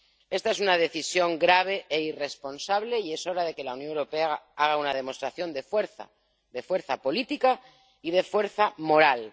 Esta es una decisión grave e irresponsable y es hora de que la Unión Europea haga una demostración de fuerza de fuerza política y de fuerza moral.